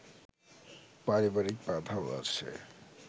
পারিবারিক বাধাও আছে